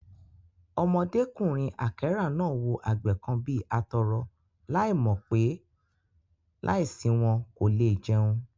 Ọmọdékùnrin àkẹ́rà náà wò àgbẹ̀ kan bí atọrọ láì mò pé, láì sí wọn, kò le è jẹun